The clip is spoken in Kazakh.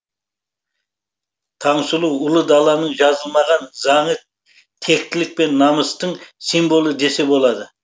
таңсұлу ұлы даланың жазылмаған заңы тектілік пен намыстың символы десе болады